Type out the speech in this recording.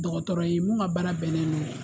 Dɔgɔtɔrɔ ye mun ka baara bɛnnen don o ma.